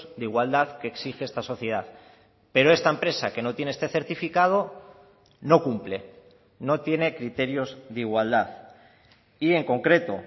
de igualdad que exige esta sociedad pero esta empresa que no tiene este certificado no cumple no tiene criterios de igualdad y en concreto